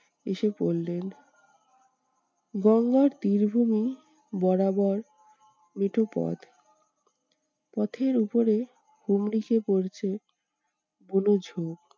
এসে পড়লেন। গঙ্গার তীর ভূমি বরাবর মেঠোপথ পথের উপরে হুমড়ি খেয়ে পড়ছে বোনো ঝোপ।